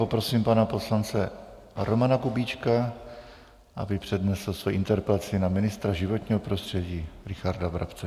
Poprosím pana poslance Romana Kubíčka, aby přednesl svoji interpelaci na ministra životního prostředí Richarda Brabce.